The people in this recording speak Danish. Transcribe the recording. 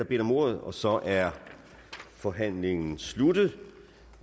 bedt om ordet og så er forhandlingen sluttet